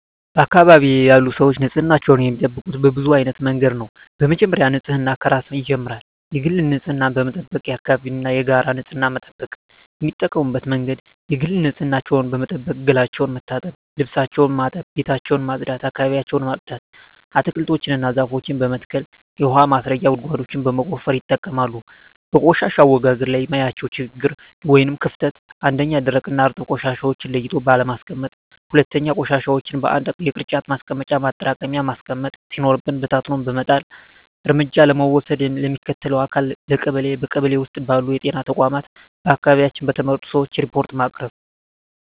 በአካባቢዬ ያሉ ሰዎች ንፅህናቸውን የሚጠብቁት በብዙ አይነት መንገድ ነው በመጀመሪያ ንፅህና ከራስ ይጀምራል የግል ንፅህናን በመጠበቅ የአካባቢን እና የጋራ ንፅህና መጠበቅ። የሚጠቀሙበት መንገድ የግል ንፅህናቸውን በመጠበቅ ገላቸውን መታጠብ ልብሳቸውን ማጠብ ቤታቸውን ማፅዳት አካባቢያቸውን ማፅዳት። አትክልቶችን እና ዛፎችን በመትከል የውሀ ማስረጊያ ጉድጓዶችን በመቆፈር ይጠቀማሉ። በቆሻሻ አወጋገድ ላይ የማየው ችግር ወይም ክፍተት 1ኛ, ደረቅና እርጥብ ቆሻሻዎችን ለይቶ ባለማስቀመጥ 2ኛ, ቆሻሻዎችን በአንድ የቅርጫት ማስቀመጫ ማጠራቀሚያ ማስቀመጥ ሲኖርብን በታትኖ በመጣል። እርምጃ ለመውሰድ ለሚመለከተው አካል ለቀበሌ ,በቀበሌ ውስጥ ባሉ ጤና ተቋማት በአካባቢያችን በተመረጡ ሰዎች ሪፓርት በማቅረብ።